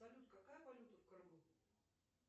салют какая валюта в крыму